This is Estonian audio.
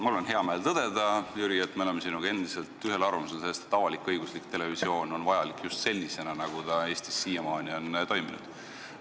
Mul on hea meel tõdeda, Jüri, et me oleme sinuga endiselt ühel arvamusel selles, et avalik-õiguslik televisioon on vajalik just sellisena, nagu ta Eestis siiamaani on toiminud.